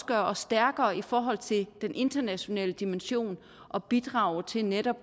gøre os stærkere i forhold til den internationale dimension og bidrage til netop